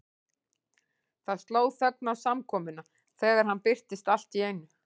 Það sló þögn á samkomuna þegar hann birtist allt í einu.